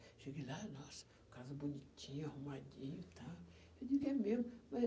Cheguei lá, nossa, casa bonitinha, arrumadinha e tal. Eu digo, é mesmo, mas